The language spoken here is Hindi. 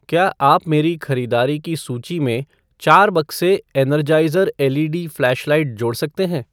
क्या आप मेरी ख़रीदारी की सूची में चार बक्से Energizer L E D flashlight जोड़ सकते हैं?